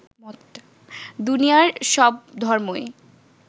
দুনিয়ার সব ধর্মই